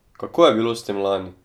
Kako je bilo s tem lani?